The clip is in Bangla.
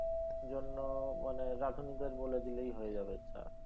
জন্য মানে রাধুনীদের বলে দিলেই হয়ে যাবে চা।